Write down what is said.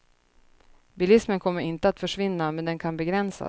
Bilismen kommer inte att försvinna, men den kan begränsas.